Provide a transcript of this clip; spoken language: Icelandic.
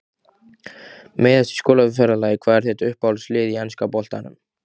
Meiðast í skólaferðalagi Hvað er þitt uppáhaldslið í enska boltanum?